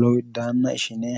lowiddaanna ishine